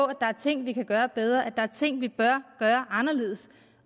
at der er ting vi kan gøre bedre at der er ting vi bør gøre anderledes